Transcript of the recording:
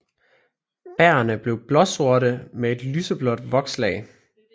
Bærrene bliver blåsorte med et lyseblåt vokslag